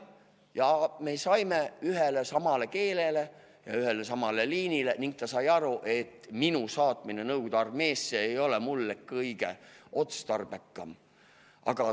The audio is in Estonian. Jah, me jõudsime ühele keelele ning arst sai aru, et minu saatmine Nõukogude armeesse ei ole mulle kõige otstarbekam.